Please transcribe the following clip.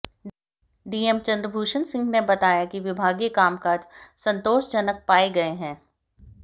DM Chandrabhushan Singh ने बताया कि विभागीय कामकाज संतोषजनक पाए गए हैं